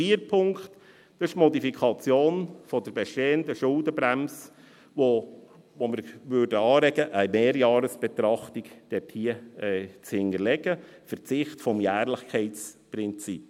Vierter Punkt: Die Modifikation der bestehenden Schuldenbremse, bei der wir anregen möchten, eine Mehrjahresbetrachtung zu hinterlegen, ein Verzicht auf das Jährlichkeitsprinzip.